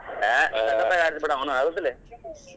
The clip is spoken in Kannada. ಹೇ ಸಕ್ಕತ್ತಾಗ್ ಆಡ್ದ ಬಿಡ್ ಅವ್ನು ಹೌದಿಲ್?